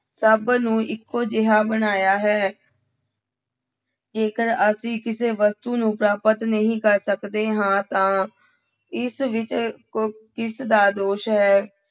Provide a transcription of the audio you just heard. ਸਭ ਨੂੰ ਇੱਕੋ ਜਿਹਾ ਬਣਾਇਆ ਹੈ ਜੇਕਰ ਅਸੀਂ ਕਿਸੇ ਵਸਤੂ ਨੂੰ ਪ੍ਰਾਪਤ ਨਹੀ ਕਰ ਸਕਦੇ ਹਾਂ ਤਾਂ ਇਸ ਵਿੱਚ ਕ ਕਿਸਦਾ ਦੋਸ਼ ਹੈ।